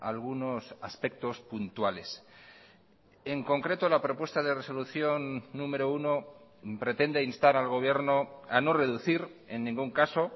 algunos aspectos puntuales en concreto la propuesta de resolución número uno pretende instar al gobierno a no reducir en ningún caso